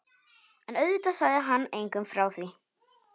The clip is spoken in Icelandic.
En auðvitað sagði hann engum frá því.